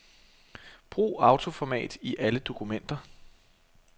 Brug autoformat i alle dokumenter.